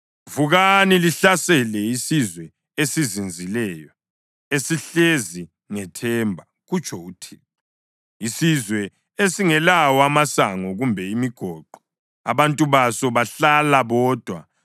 Vukani lihlasele isizwe esizinzileyo, esihlezi ngethemba,” kutsho uThixo, “isizwe esingelawo amasango kumbe imigoqo; abantu baso bahlala bodwa.